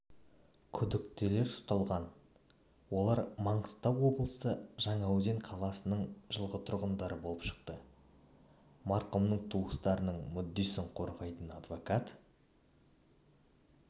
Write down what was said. күдіктілер ұсталған олар мағыстау облысы жаңаөзен қаласының жылғы тұрғындары болып шықты марқұмның туыстарының мүддесін қорғайтын адвокат